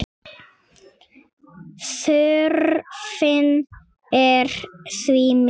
Þörfin er því mikil.